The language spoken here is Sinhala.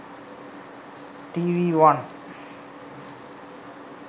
tv one